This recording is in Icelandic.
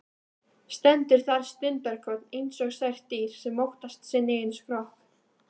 Stendur þar stundarkorn einsog sært dýr sem óttast sinn eigin skrokk.